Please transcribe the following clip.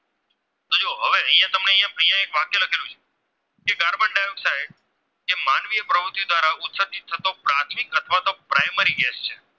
મારી Gas છે